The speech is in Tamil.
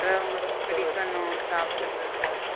அவங்களுக்கு பிடிக்கணும் சாப்பிட்றது